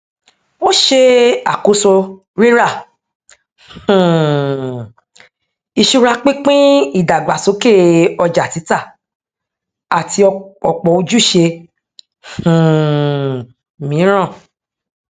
ó ṣe àkóso ríra um ìṣura pínpín ìdàgbàsókè ọjàtítà àti ọpọ ojúṣe um míràn